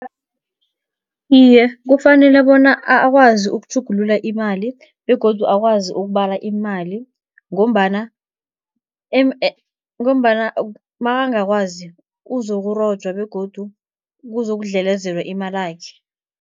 Iye, kufanele bona akwazi ukutjhugulula imali begodu akwazi ukubala imali, ngombana ngombana makangakwazi uzokurojwa begodu kuzokudlelezelwa imalakhe.